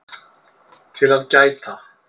TIL AÐ GÆTA